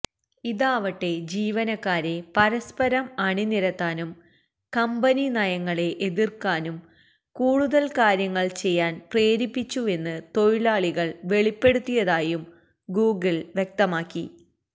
ഇതാവട്ടെ ജീവനക്കാരെ പരസ്പരം അണിനിരത്താനും കമ്പനി നയങ്ങളെ എതിര്ക്കാനും കൂടുതല് കാര്യങ്ങള് ചെയ്യാന് പ്രേരിപ്പിച്ചുവെന്ന് തൊഴിലാളികള് വെളിപ്പെടുത്തിയതായും ഗൂഗിള് വ്യക്തമാക്കി